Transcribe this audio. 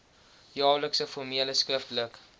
jaarlikse formele skriftelike